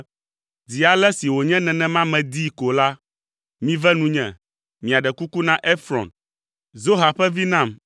“Zi ale si wònye nenema miedii ko la, mive nunye, miaɖe kuku na Efrɔn, Zoha ƒe vi nam